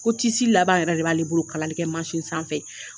Ko tisi laban yɛrɛ de b'ale bolo kalalikɛ masin sanfɛ.